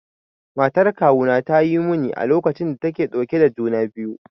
Matar kawuna ta yi muni a lokacin da take dauke da juna biyu.